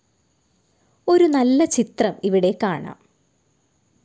ഒരു നല്ല ചിത്രം ഇവിടെ കാണാം